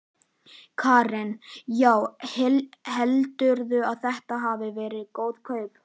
Karen: Já, heldurðu að þetta hafi verið góð kaup?